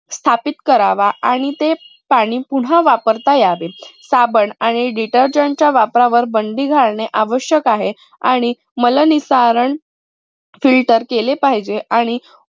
स्थापित करावा आणि ते पाणी पुन्हा वापरता यावे. साबण आणि detergent च्या वापरावर बंदी घालणे आवश्यक आहे. आणि मल निसारण filter केले पाहिजे आणि